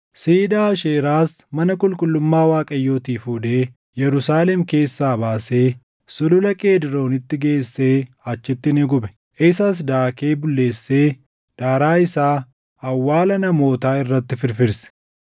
Siidaa Aasheeraas mana qulqullummaa Waaqayyootii fuudhee Yerusaalem keessaa baasee Sulula Qeedroonitti geessee achitti ni gube. Isas daakee bulleessee daaraa isaa awwaala namootaa irratti firfirse.